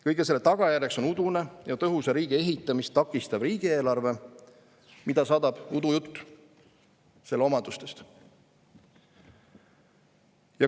Kõige selle tagajärjeks on udune ja tõhusa riigi ehitamist takistav riigieelarve, mida saadab udujutt selle omadustest.